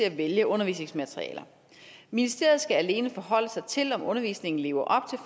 at vælge undervisningsmaterialer ministeriet skal alene forholde sig til om undervisningen lever